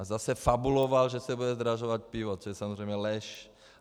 A zase fabuloval, že se bude zdražovat pivo, což je samozřejmě lež.